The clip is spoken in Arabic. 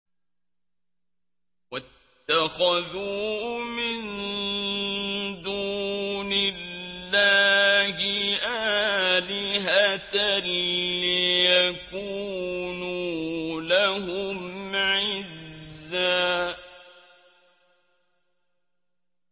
وَاتَّخَذُوا مِن دُونِ اللَّهِ آلِهَةً لِّيَكُونُوا لَهُمْ عِزًّا